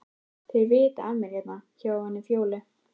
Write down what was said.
Þeir vita af mér hérna hjá henni Fjólu.